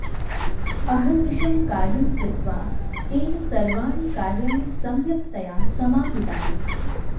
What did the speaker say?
अहर्निशं कार्यं कृत्वा तेन सर्वाणि कार्याणि सम्यक्तया समापितानि